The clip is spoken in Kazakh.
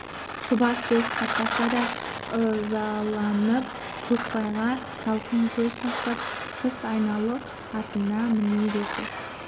шұбар сөз қатпаса да ызаланып көкбайға салқын көз тастап сырт айналып атына міне берді